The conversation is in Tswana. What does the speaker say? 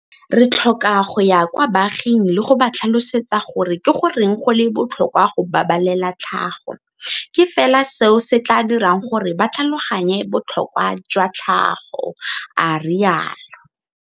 Re tlhoka go ya kwa baaging le go ba tlhalosetsa gore ke goreng go le botlhokwa go babalela tlhago. Ke fela seo se tla dirang gore ba tlhaloganye botlhokwa jwa tlhago, a rialo.